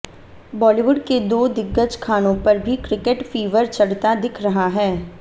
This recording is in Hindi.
बालीवुड के दो दिग्गज खानों पर भी क्रिकेट फीवर चढ़ता दिख रहा है